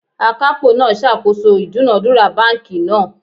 Akapo naa sakoso idunadura banki naa